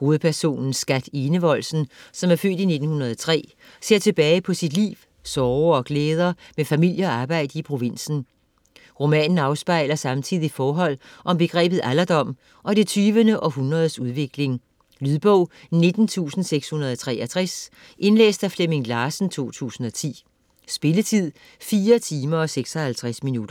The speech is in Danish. Hovedpersonen Skat Enevoldsen, som er født i 1903, ser tilbage på sit liv, sorger og glæder med familie og arbejde i provinsen. Roman afspejler samtidig forhold om begrebet alderdom og det 20. århundredes udvikling. Lydbog 19663 Indlæst af Flemming Larsen, 2010. Spilletid: 4 timer, 56 minutter.